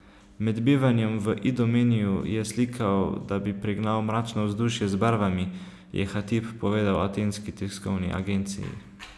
Med bivanjem v Idomeniju je slikal, da bi pregnal mračno vzdušje z barvami, je Hatib povedal Atenski tiskovni agenciji.